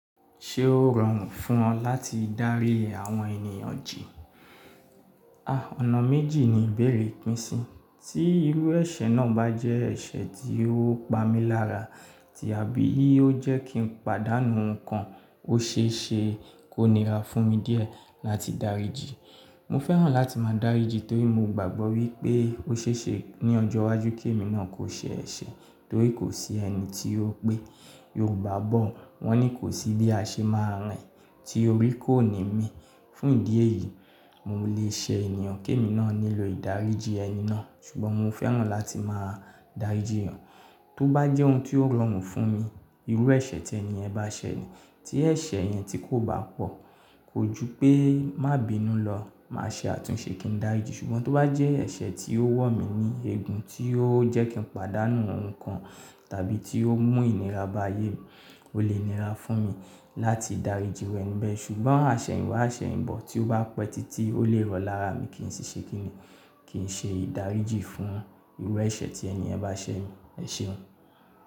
Ṣé ó rọrùn fún ọ láti dárí àwọn ènìyàn jì? À! Ọ̀nà méjì ni ìbéèrè yin pín sí. Tí irú ẹ̀ṣẹ̀ náà bá jẹ́ ẹ̀ṣẹ̀ tí ó pa mí lára tàbí ó jẹ́ kí n pàdánù nǹkan, ó ṣe é ṣe kó nira fún mi díẹ̀ láti dáríji. Mo fẹ́ràn láti máa dáríji torí mo gbàgbọ́ wípé ó ṣe é ṣe ní ọjọ́ iwájú kí èmi náà kò ṣe ẹ̀ṣẹ̀ torí kò sí ẹni tí ó pé Yorùbá bọ̀ wọ́n ni kò sí bí a ṣe máa rìn tí orí kò ní mí. Fún ìdí èyí, mo lè ṣe ènìyàn kí èmi náà nílò ìdáríjì ẹni náà. Ṣùgbọ́n mo fẹ́ràn láti máa dáríji yan. Tó bá jẹ́ ohun tí ó rọrùn fún mi, irú ẹ̀ṣẹ̀ tí ẹni yẹ̀n bá ṣe ni. Tí ẹ̀ṣẹ̀ yẹn tí kò bá pọ̀, kò ju pé má bínú lọ, màá ṣe àtúnṣe kí n dáriji. Ṣùgbọ́n tó bá jẹ́ ẹ̀ṣẹ̀ tí ó wọ̀ mí ní eegun, tí ó jẹ́ kí n pàdánù nǹkan tàbí tí ó mú ìnira bá ayé mi, ó lè nira fún mi láti dáríji iru e ni bẹ̀. Ṣùgbọ́n àṣẹ̀yinwáy àṣẹ̀yìnbọ̀ tí ó bá pẹ́ títí ó lè rọ lára mi kí n ṣiṣẹ́ kí ni, kí n ṣe ìdáríjì fún irú ẹ̀ṣẹ̀ tí ẹni yẹ̀n bá ṣe mi. Ẹ̀ṣẹ̀ òun.